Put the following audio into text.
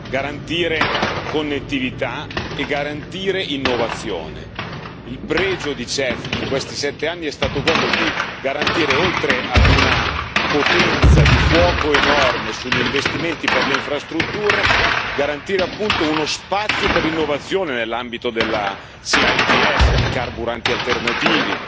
garantire connettività e garantire innovazione. Il pregio del CEF in questi sette anni è stato quello di garantire, oltre ad una potenza di fuoco enorme sugli investimenti per le infrastrutture, garantire appunto uno spazio per l'innovazione nell'ambito della C ITS, i carburanti alternativi,